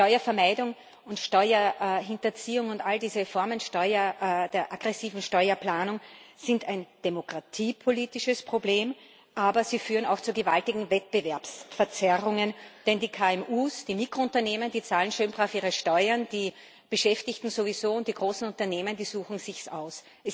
Steuervermeidung und Steuerhinterziehung und all diese Formen der aggressiven Steuerplanung sind ein demokratiepolitisches Problem, aber sie führen auch zu gewaltigen Wettbewerbsverzerrungen, denn die KMU, die Mikrounternehmen, die zahlen schön brav ihre Steuern, die Beschäftigten sowieso, und die großen Unternehmen suchen es sich aus.